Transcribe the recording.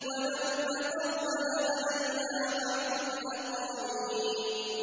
وَلَوْ تَقَوَّلَ عَلَيْنَا بَعْضَ الْأَقَاوِيلِ